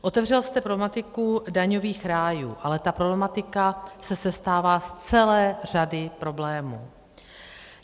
Otevřel jste problematiku daňových rájů, ale ta problematika se sestává z celé řady problémů.